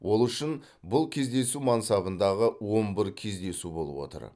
ол үшін бұл кездесу мансабындағы он бір кездесу болып отыр